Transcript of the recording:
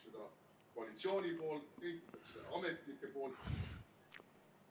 ... koalitsiooni poolt, ametnike poolt.